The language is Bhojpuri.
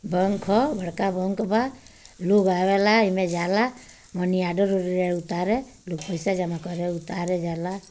बैंक ह बड़का बैंक बा लोग आवेला एमे जाला मनी ऑर्डर और उतारे लोग पैसा जमा करे उतारे जाला।